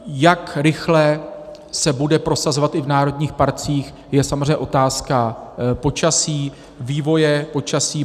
Jak rychle se bude prosazovat i v národních parcích, je samozřejmě otázka počasí, vývoje počasí.